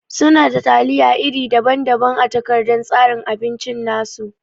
Suna da taliya iri daban-daban a takardan tsarin abinci nasu.